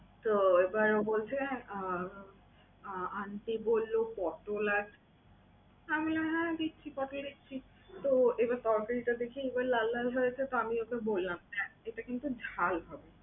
তো এরপরে ও বলছে আহ aunty বলল পটল আছে। আমি বললাম হ্যাঁ দিচ্ছি, পটল দিচ্ছি। তো এবার পটলটা দেখেই বলল আল্লাহ আল্লাহ? তো আমি ওকে বললাম, এটা কিন্তু ঝাল হবে।